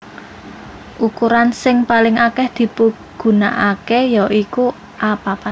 Ukuransing paling akèh dipigunakaké ya iku A papat